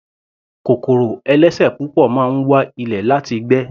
Kòkòrò ẹlẹ́sẹ̀ púpọ̀ máa ń wa ilẹ̀ láti gbé.